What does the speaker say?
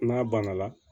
N'a banna